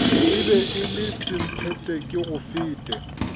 e be e le semphetekegofete